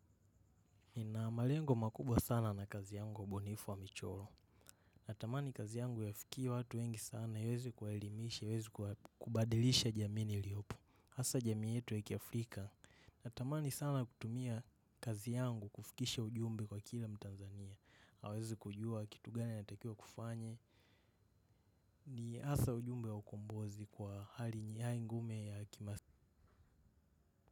Nina malengo makubwa sana na kazi yangu wabunifu wa michoro. Natamani kazi yangu iwafikie watu wengi sana iweze kuelimisha, iweze kubadilisha jamii niliyopo. Hasa jamii yetu ya kiafrika. Natamani sana kutumia kazi yangu kufikisha ujumbe kwa kila mtanzania. Hawezi kujua kitu gani anatakiwa kufanya. Ni hasa ujumbe wa ukumbozi kwa hali ya ingume ya kimasini.